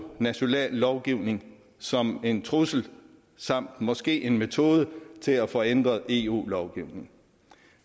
national lovgivning som en trussel samt måske en metode til at få ændret eu lovgivningen